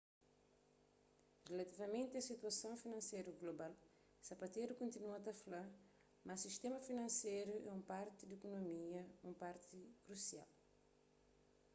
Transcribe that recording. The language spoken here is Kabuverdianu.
rilativamenti a situason finanseru global zapatero kontinua ta fla ma sistéma finanseru é un parti di ikunomia un parti krusial